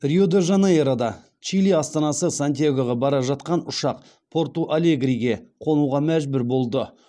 рио де жанейрода чили астанасы сантьягоға бара жатқан ұшақ порту алегриге қонуға мәжбүр болды